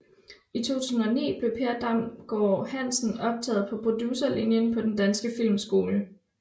I 2009 blev Per Damgaard Hansen optaget på Producerlinjen på Den Danske Filmskole